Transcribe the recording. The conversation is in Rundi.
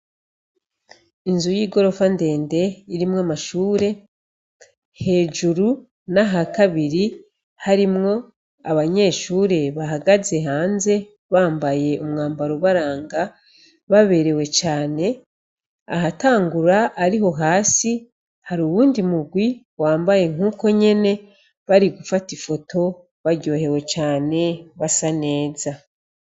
Inzu y'i gorofa ndende irimwo amashure hejuru na ha kabiri harimwo abanyeshure bahagaze hanze bambaye umwambaro ubaranga baberewe cane ahatangura ari ho hasi hari uwundi mugwi wame ambaye nk'uko nyene bari gufata ifoto baryohewe cane basa neza.